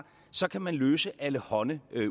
så kan man løse alle hånde